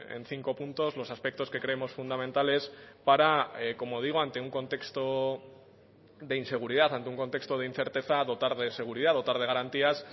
en cinco puntos los aspectos que creemos fundamentales para como digo ante un contexto de inseguridad ante un contexto de incerteza dotar de seguridad dotar de garantías